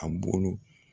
A bolo